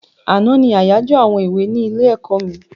Àná ní àyájọ àwọn èwe ní ilé-ẹ̀kọ́ mi.